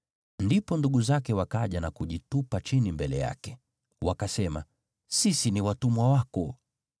Ndipo ndugu zake wakaja na kujitupa chini mbele yake. Wakasema, “Sisi ni watumwa wako.”